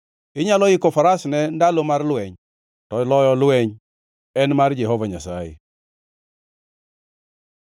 Inyalo yiko faras ne ndalo mar lweny; to loyo lweny en mar Jehova Nyasaye.